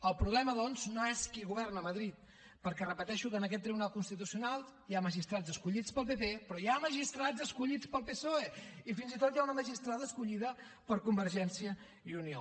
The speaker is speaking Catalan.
el problema doncs no és qui governa a madrid perquè ho repeteixo en aquest tribunal constitucional hi ha magistrats escollits pel pp però hi ha magistrats escollits pel psoe i fins i tot hi ha una magistrada escollida per convergència i unió